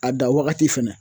A danwagati fɛnɛ